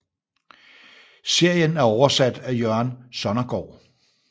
Serien er oversat af Jørgen Sonnergaard